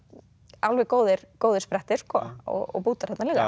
alveg góðir góðir sprettir og bútar þarna líka